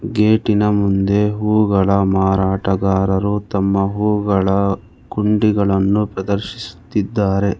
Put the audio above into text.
ಗೇಟಿನ ಮುಂದೆ ಹೂಗಳ ಮಾರಾಟಗಾರರು ತಮ್ಮ ಹೂಗಳ ಕುಂಡಿಗಳನ್ನು ಪ್ರದರ್ಶಿಸುತ್ತಿದ್ದಾರೆ.